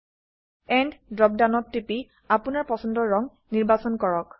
and drop ডাউনত টিপি আপোনৰ পছন্দৰ ৰঙ নিৰ্বাচন কৰক